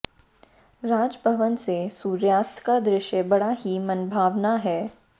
राज भवन से सूर्यास्त का दृश्य बड़ा ही मनभावन है